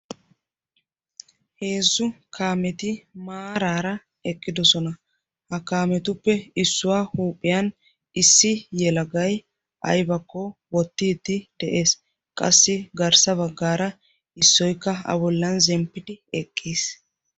heezzu kaameti maaraara eqqidosona. ha kaametuppe issuwaa huuphiyan issi yelagay aybakko wottiidti de'ees qassi garssa baggaara issoykka a bollan zemppiidi eqqiis.